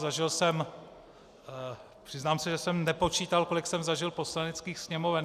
Zažil jsem, přiznám se, že jsem nepočítal, kolik jsem zažil Poslaneckých sněmoven.